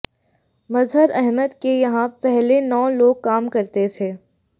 मजहर अहमद के यहां पहले नौ लोग काम करते थे